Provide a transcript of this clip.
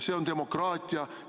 See on demokraatia.